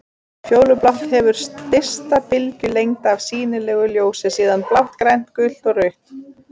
Fjólublátt hefur stysta bylgjulengd af sýnilegu ljósi, síðan blátt, grænt, gult og rautt.